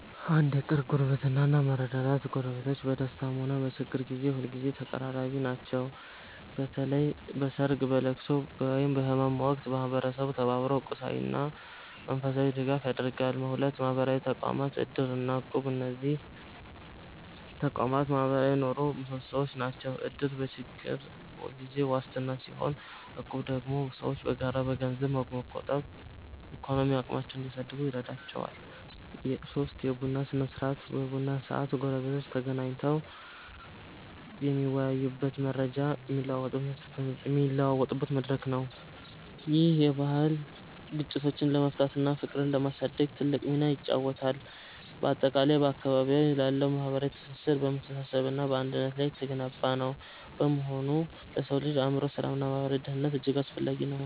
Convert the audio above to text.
1. የቅርብ ጉርብትና እና መረዳዳት ጎረቤቶች በደስታም ሆነ በችግር ጊዜ ሁልጊዜ ተቀራራቢ ናቸው። በተለይ በሰርግ፣ በልቅሶ ወይም በህመም ወቅት ማህበረሰቡ ተባብሮ ቁሳዊና መንፈሳዊ ድጋፍ ያደርጋል። 2. ማህበራዊ ተቋማት (እድር እና እቁብ) እነዚህ ተቋማት የማህበራዊ ኑሮው ምሰሶዎች ናቸው። እድር በችግር ጊዜ ዋስትና ሲሆን፣ እቁብ ደግሞ ሰዎች በጋራ ገንዘብ በመቆጠብ የኢኮኖሚ አቅማቸውን እንዲያሳድጉ ይረዳቸዋል። 3. የቡና ስነ-ስርዓት የቡና ሰዓት ጎረቤቶች ተገናኝተው የሚወያዩበትና መረጃ የሚለዋወጡበት መድረክ ነው። ይህ ባህል ግጭቶችን ለመፍታትና ፍቅርን ለማሳደግ ትልቅ ሚና ይጫወታል። ባጠቃላይ፣ በአካባቢዎ ያለው ማህበራዊ ትስስር በመተሳሰብና በአንድነት ላይ የተገነባ በመሆኑ ለሰው ልጅ የአእምሮ ሰላምና ማህበራዊ ደህንነት እጅግ አስፈላጊ ነው።